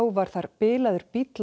var þar bilaður bíll